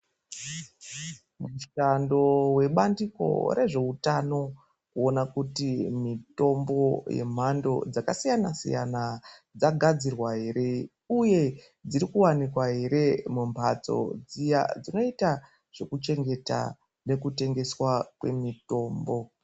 Mushando webandiko rezveutano kuona kuti mitombo yemhando dzakasiyana-siyana dzagadzirwa ere, uye dziri kuwanikwa ere mumhatso dziya dzinoita zvekuchengeta nekutengeswa kwemitombo.